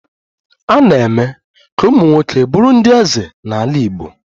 A na-eme ka ụmụ nwoke bụrụ ndị eze n'ala Igbo